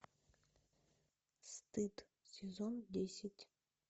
стыд сезон десять